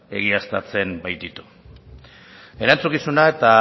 egiaztatzen baititu erantzukizuna eta